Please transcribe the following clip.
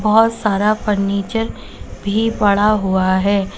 बहुत सारा फर्नीचर भी पड़ा हुआ है।